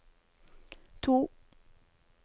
to